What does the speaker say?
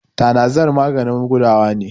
tanazar maganin gudawa ne